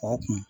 O kun